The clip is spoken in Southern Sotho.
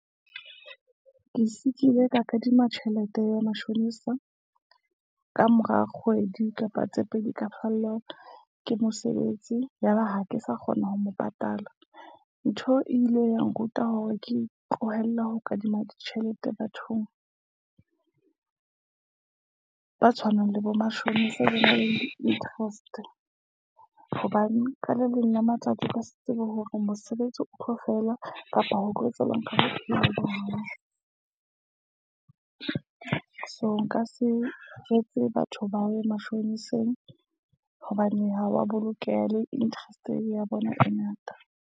Ke sigxile ka kadima tjhelete ya matjhonisa. Ka mora kgwedi kapa tse pedi ka fellwang ke mosebetsi. Yaba ha ke sa kgona ho mo patala. Ntho e ile ya nruta hore ke tlohelle ho kadima tjhelete bathong, ba tshwanang le bomashonisa se be le interest. Hobane ka le leng la matsatsi ba sa tsebe hore mosebetsi o tlo fela kapa ho tlo etsahalang. U seo nka se etse batho ba wi mashoneseng hobane ha wa bolokeha le interest ya bona e ngata.